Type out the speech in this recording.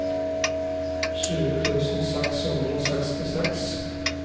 tjue tusen seks hundre og sekstiseks